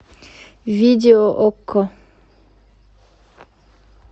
видео окко